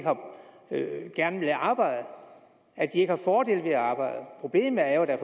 gerne vil arbejde at de ikke har fordele ved at arbejde problemet er jo at der